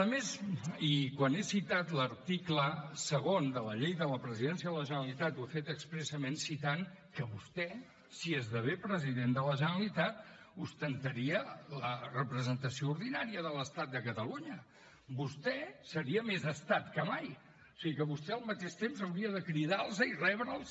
a més i quan he citat l’article segon de la llei de la presidència de la generalitat ho he fet expressament citant que vostè si esdevé president de la generalitat ostentaria la representació ordinària de l’estat a catalunya vostè seria més estat que mai o sigui que vostè al mateix temps hauria de cridar los i rebre’ls